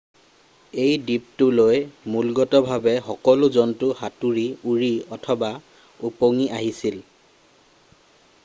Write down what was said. এই দ্বীপটোলৈ মূলগতভাৱে সকলো জন্তু সাঁতুৰি উৰি অথবা ওপঙি আহিছিল